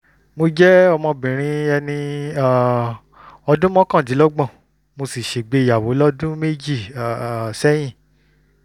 mo jẹ́ ọmọbìnrin ẹni um ọdún mọ́kàndínlọ́gbọ̀n mo sì ṣègbéyàwó lọ́dún méjì um sẹ́yìn